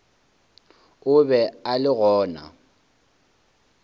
o be a le gona